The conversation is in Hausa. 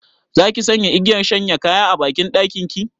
Zaki sanya igiyar shanya a banɗakin ki?